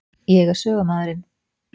Ég er sögumaðurinn.